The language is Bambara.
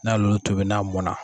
N'ay' olu tobi n'a mɔna